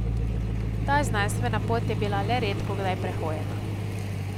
Ta znanstvena pot je bila le redkokdaj prehojena.